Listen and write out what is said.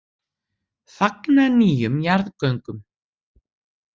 Fagna nýjum jarðgöngum